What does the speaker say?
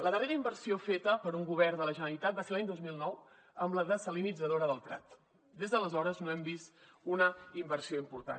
la darrera inversió feta per un govern de la generalitat va ser l’any dos mil nou amb la dessalinitzadora del prat des d’aleshores no hem vist una inversió important